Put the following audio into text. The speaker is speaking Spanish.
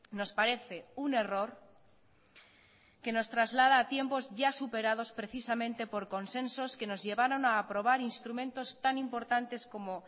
nos parece un error que nos traslada a tiempos ya superados precisamente por consensos que nos llevaron a aprobar instrumentos tan importantes como